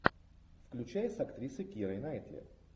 включай с актрисой кирой найтли